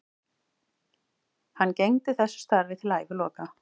Hann gegndi þessu starfi til æviloka.